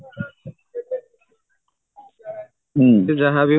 ହୁଁ ସେ ଯାହାବି